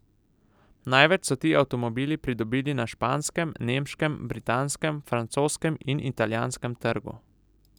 Največ so ti avtomobili pridobili na španskem, nemškem, britanskem, francoskem in italijanskem trgu.